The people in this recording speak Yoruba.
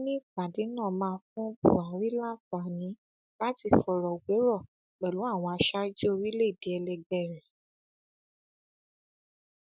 ó ní ìpàdé náà máa fún buhari láǹfààní láti fọrọ wérọ pẹlú àwọn aṣáájú orílẹèdè ẹlẹgbẹ rẹ